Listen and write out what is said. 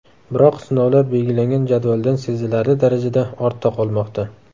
Biroq sinovlar belgilangan jadvaldan sezilarli darajada ortda qolmoqda.